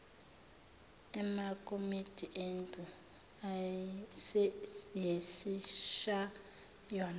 amakomidi endlu yesishayamthetho